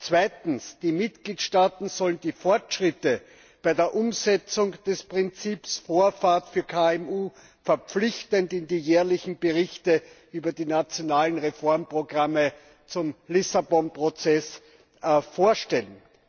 Zweitens Die Mitgliedstaaten sollen die Fortschritte bei der Umsetzung des Prinzips Vorrang für KMU verpflichtend in den jährlichen Berichten über die nationalen Reformprogramme zum Lissabon Prozess vorstellen.